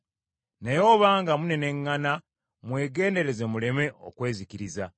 Naye obanga muneneŋŋana mwegendereze muleme okwezikiriza.